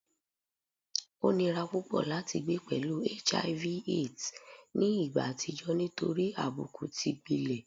O nira pupọ lati gbe pẹlu HIV / AIDS ni igba atijọ nitori abuku ti gbilẹ